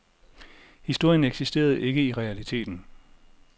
Historien eksisterede ikke i realiteten.